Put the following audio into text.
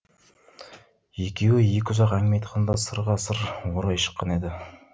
екеуі екі ұзақ әңгіме айтқанда сырға сыр орай шыққан еді